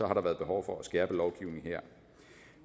har der været behov for at skærpe lovgivningen her